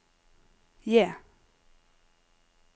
J